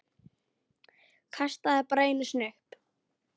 Kastaði bara einu sinni upp.